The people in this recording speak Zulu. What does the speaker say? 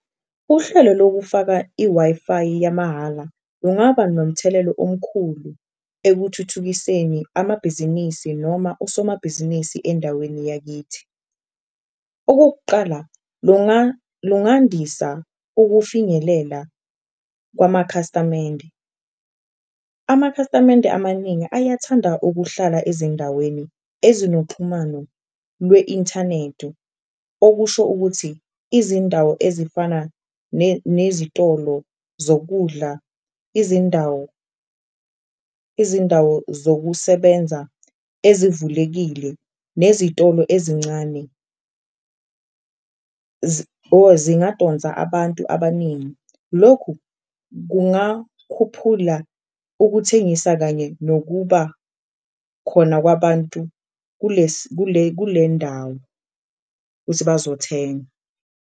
Uhlelo lokufaka i-Wi-Fi yamahhala ungaba nomthelelo omkhulu ekuthuthukiseni amabhizinisi noma osomabhizinisi endaweni yakithi. Okokuqala, lungandisa ukufinyelela kwamakhasamende. Amakhasamende amaningi ayathanda ukuhlala ezindaweni ezinoxhumano lwe-inthanedu, okusho ukuthi izindawo ezifana nezitolo zokudla, izindawo, izindawo zokusebenza ezivulekile nezitolo ezincane, zingadonsa abantu abaningi. Lokhu kungakhuphula ukuthengisa kanye nokuba khona kwabantu kule ndawo, kuthi bazothenga.